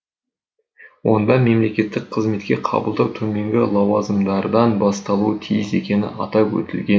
онда мемлекеттік қызметке қабылдау төменгі лауазымдардан басталуы тиіс екені атап өтілген